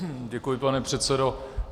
Děkuji, pane předsedo.